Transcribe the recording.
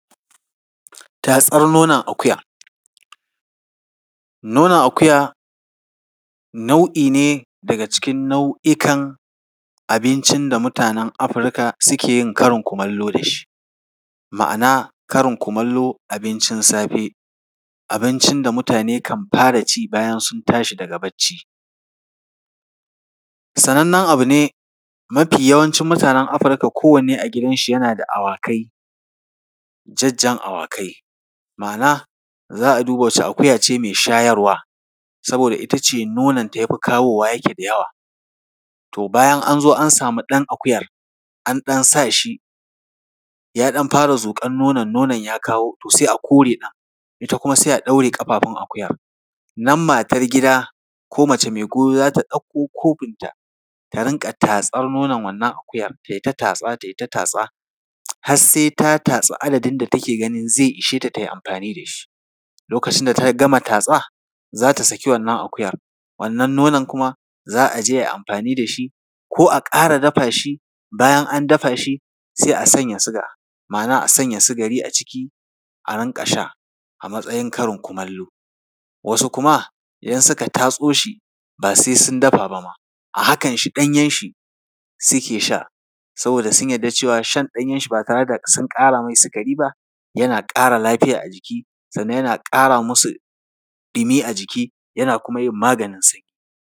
Tatsar nonon akuya. Nonon akuya nau’i ne daga cikin nau’ikan abincin da mutanen Afirka suke yin karin kumallo da shi, ma’ana karin kumallo, abincin safe, abincin da mutane kan fara ci bayan sun tashi daga barci. Sanannen abu ne, mafi yawancin mutanen Afirka kowanne a gidanshi yana da awakai, jajjan awakai, ma’ana, za a duba wace akuya ce mai shayarwa saboda ita ce nononta ya fi kawowa, yake da yawa. To bayan an zo an samu ɗan akuyar, an ɗan sa shi, ya ɗan fara zuƙar nonon, nonon ya kawo, to sai a kore ɗan. Ita kuma sai ɗaure ƙafafun akuyar. Nan matar gida ko mace mai goyo za ta ɗauko kofinta, ta rinƙa tatsar nonon wannan akuyar, ta yi ta tatsa, ta yi ta tatsa har sai tatsi adadin da take ganin zai ishe ta, ta yi amfani da shi. Lokacin da ta gama tatsa, za ta saki akuyar. Wannan nonon kuma, za a je a yi amfani da shi ko a ƙara dafa shi, bayan an dafa shi, sai a sanya suga. Ma’ana a sanya sigari a ciki, a rinƙa sha a matsayin karin kumallo. Wasu kuma idan suka tatso shi, ba sai sun dafa ba ma, a hakanshi ɗanyenshi suke sha, saboda sun yarda cewa shan ɗanyenshi ba tare da sun ƙara mai sikari ba, yana ƙara lafiya a jiki sannan yana ƙara musu ɗumi a jiki, yana kuma yin maganin sanyi.